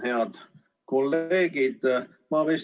Head kolleegid!